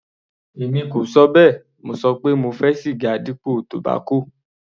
Èmi kò ṣọ bẹ́ẹ̀, mo ṣọ pé mo fẹ́ siga dípò tobacco.